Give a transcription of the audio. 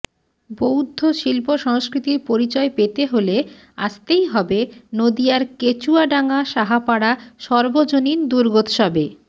বৌদ্ধ শিল্প সংস্কৃতির পরিচয় পেতে হলে আসতেই হবে নদীয়ার কেচুয়াডাঙা সাহাপাড়া সর্বজনীন দুর্গোৎসবে